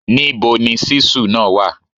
Níbo ni ṣíṣù náà wa